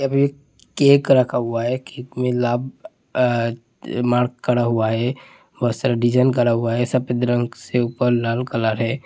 अभी कैक रखा हुआ है कैक में लाब अ त मार करा हुआ है बहुत सारा डिजाइन करा हुआ है सफ़ेद रंग से ऊपर लाल कलर है।